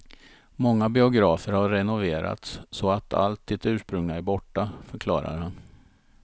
Många biografer har renoverats så att allt det ursprungliga är borta, förklarar han.